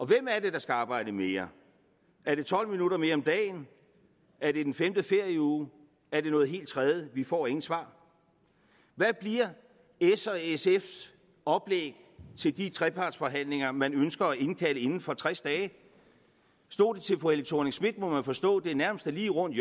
hvem er det der skal arbejde mere er det tolv minutter mere om dagen er det den femte ferieuge er det noget helt tredje vi får ingen svar hvad bliver s og sfs oplæg til de trepartsforhandlinger man ønsker at indkalde til inden for tres dage stod det til fru helle thorning schmidt må man forstå er det nærmest lige rundt